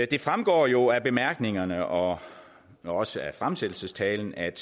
det fremgår jo af bemærkningerne og også af fremsættelsestalen at